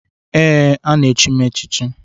Ee, na m echi echichi